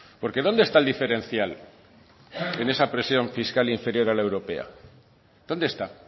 porque dónde está el diferencial en esa presión fiscal inferior a la europea dónde está